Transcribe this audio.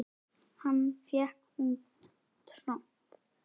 Hann fékk út tromp.